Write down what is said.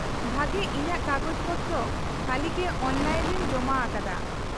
-ᱵᱷᱟᱜᱮ ᱤᱧᱟᱹᱜ ᱠᱟᱜᱚᱡ ᱯᱚᱛᱨᱚ ᱦᱟᱹᱞᱤᱜᱮ ᱚᱱᱞᱟᱭᱤᱱ ᱨᱮᱧ ᱡᱚᱢᱟ ᱟᱠᱟᱫᱟ ᱾